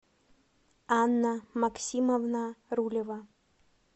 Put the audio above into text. анна максимовна рулева